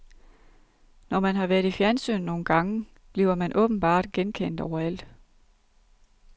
Når man har været i fjernsynet nogle gange, bliver man åbenbart genkendt overalt.